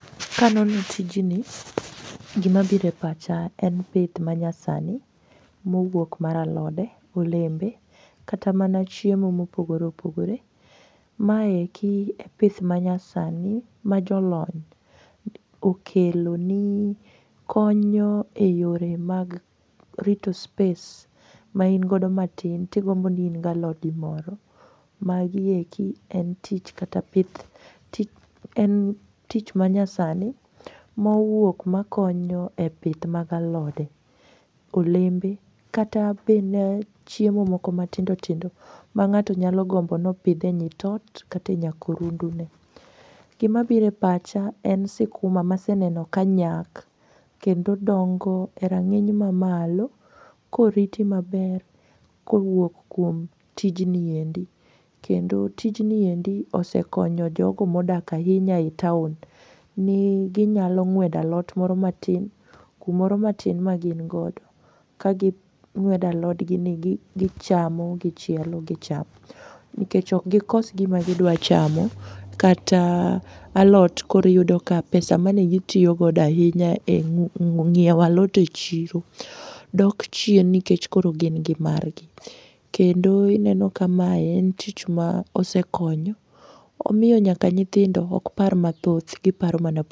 Kanono tijni gimabiro e pacha en pith manyasani mowuok mar alode, olembe kata mana chiemo mopogore opogore. Maeki e pith manyasani majolony okelo ni konyo e yore mag rito space maingodo matin tigombo ni in galodi moro. Magieki en tich manyasani ma owuok makonyo e pith mag alode, olembe kata bende chiemo moko matindotindo mang'ato nyalogombo nopidh e nyit ot kata e nyakorundune. Gimabiro e pacha en sikuma maseneno kanyak kendo dongo e rang'iny mamalo koriti maber kowuok kuom tijniendi kendo tijni osekonyo jogo modsak ahinya e taon ni ginyalo ng'wedo alot moro matin kumoro matin magingodo kaging'wedo alodgini gichamo gichielo gichamo nikech okgikos gima gidwachamo kata alot koro iyudo ka pesa manegitiyogodo ahinya e ng'iewo alot e chiro dok chien nikech koro gin gi margi, kendo ineno ka mae en tich ma osekonyo omiyo nyaka nyithindo okpar mathoth giparo mana ..